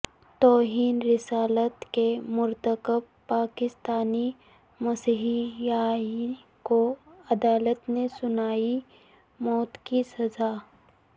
توہین رسالت کے مرتکب پاکستانی مسیحی کو عدالت نے سنائی موت کی سزا